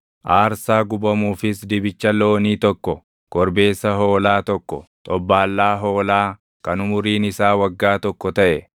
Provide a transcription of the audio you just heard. aarsaa gubamuufis dibicha loonii tokko, korbeessa hoolaa tokko, xobbaallaa hoolaa kan umuriin isaa waggaa tokko taʼe,